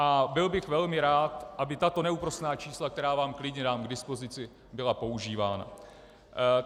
A byl bych velmi rád, aby tato neúprosná čísla, která vám klidně dám k dispozici, byla používána.